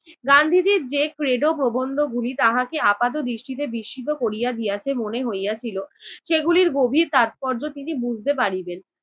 গান্ধীজীর যে ক্রেডো প্রবন্ধগুলি তাহাকে আপাত দৃষ্টিতে বিস্মিত করিয়া দিয়াছে মনে হইয়াছিল, সেগুলির গভীর তাৎপর্য তিনি বুঝতে পারিবেন।